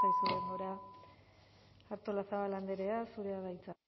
zaizu denbora artolazabal andrea zurea da hitza